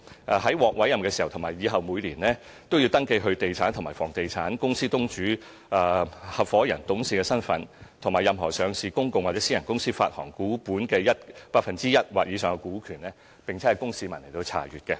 他們獲委任時及以後每年，也要登記他們擁有的地產和房地產、他們的公司東主、合夥人/董事身份，以及任何上市公共或私人公司發行股本 1% 或以上股權的資料，供市民查閱。